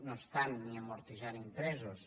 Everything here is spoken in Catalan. no estan ni amortitzant interessos